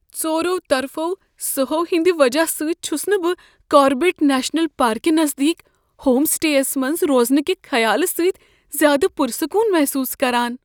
ژورو طرفو سہَو ہٕندِ وجہ سۭتۍ چُھس نہٕ بہٕ کاربیٹ نیشنل پارکِہ نزدیک ہوم سٹے یس منٛز روزنہٕ کہ خیال سۭتۍ زیادٕ پُر سکون محسوس کران۔